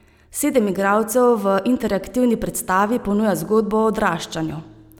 Sedem igralcev v interaktivni predstavi ponuja zgodbo o odraščanju.